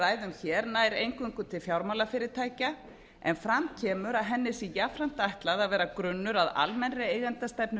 ræðum hér nær eingöngu til fjármálafyrirtækja en fram kemur að henni sé jafnframt ætlað að vera jafnframt grunnur að almennri eigendastefnu